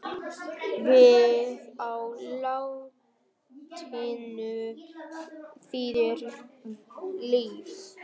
Vita á latínu þýðir líf.